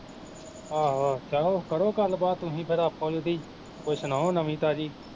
ਆਹੋ ਆਹੋ ਚਲੋ ਕਰੋ ਗੱਲ ਬਾਤ ਤੁਸੀਂ ਫਿਰ ਆਪੋ ਵਿੱਚ ਦੀ, ਕੋਈ ਸੁਣਾਓ ਨਵੀਂ ਤਾਜ਼ੀ